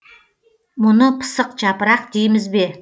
мұны пысық жапырақ дейміз бе